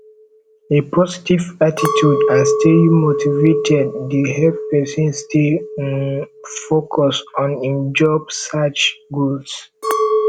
a positive attitude and staying motivated dey help person stay um focused on im job search goals